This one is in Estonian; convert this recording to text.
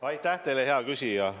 Aitäh teile, hea küsija!